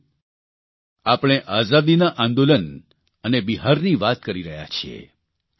સાથીઓ આપણે આઝાદીના આંદોલન અને બિહારની વાત કરી રહ્યા છીએ